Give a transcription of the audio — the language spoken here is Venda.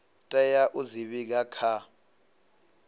tea u dzi vhiga kha